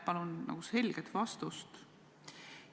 Palun selget vastust.